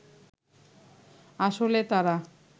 আসলে তারা